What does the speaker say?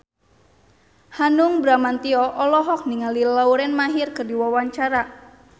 Hanung Bramantyo olohok ningali Lauren Maher keur diwawancara